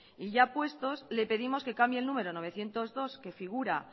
y ya puestos le pedimos que cambie el número novecientos dos que figura